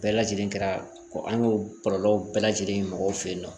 Bɛɛ lajɛlen kɛra ko an k'o kɔlɔlɔw bɛɛ lajɛlen mɔgɔw fe yen nɔ